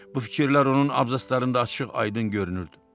Bu fikirlər onun abzaslarında açıq-aydın görünürdü.